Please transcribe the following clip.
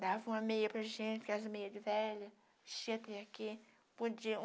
Dava uma meia para gente, aquelas meias de velhas, cheia até aqui. Podiam